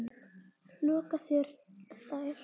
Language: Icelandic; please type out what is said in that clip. loka þær.